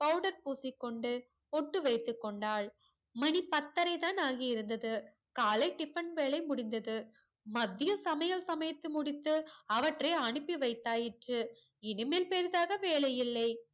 powder பூசிக்கொண்டு பொட்டு வைத்து கொண்டால் மணிபத்தரை தான் ஆகி இருந்தது காலை tiffin வேலை முடிந்தது மதியம் சமயல் சமைத்து முடித்து அவற்றை அனுப்பி வைத்தாயிற்று இனிமேல் பெருசாக வேலை இல்லை